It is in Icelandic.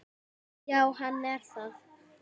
Já, hann er það.